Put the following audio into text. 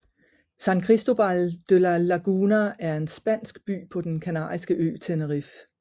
San Cristóbal de La Laguna er en spansk by på den kanariske ø Tenerife